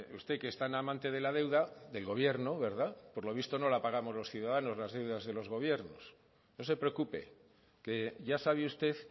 usted que es tan amante de la deuda del gobierno verdad por lo visto no la pagamos los ciudadanos las deudas de los gobiernos no se preocupe que ya sabe usted